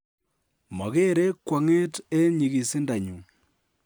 "Mogere kwong'et en nyigisindanyun."